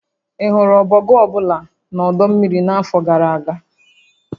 Ị hụrụ ọbọgwụ ọ bụla na ọdọ mmiri n'afọ gara aga?